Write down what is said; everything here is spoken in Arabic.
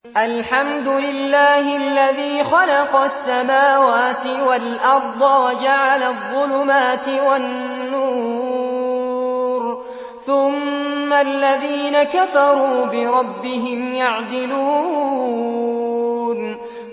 الْحَمْدُ لِلَّهِ الَّذِي خَلَقَ السَّمَاوَاتِ وَالْأَرْضَ وَجَعَلَ الظُّلُمَاتِ وَالنُّورَ ۖ ثُمَّ الَّذِينَ كَفَرُوا بِرَبِّهِمْ يَعْدِلُونَ